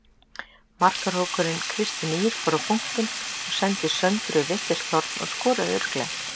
Markahrókurinn Kristín Ýr fór á punktinn og sendi Söndru í vitlaust horn og skoraði örugglega.